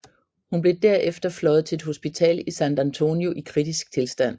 Hun blev derefter fløjet til et hospital i San Antonio i kritisk tilstand